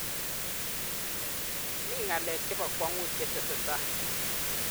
mi ng'alek che bo kwong'ut che tesetai.